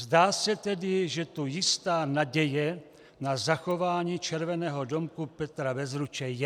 Zdá se tedy, že tu jistá naděje na zachování Červeného domku Petra Bezruče je.